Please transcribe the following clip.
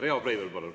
Riho Breivel, palun!